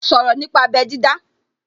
Sọ̀rọ̀ nípa abẹ́ dídá